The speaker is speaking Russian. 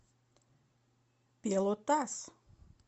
пелотас